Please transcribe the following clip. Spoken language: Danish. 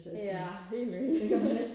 ja helt vildt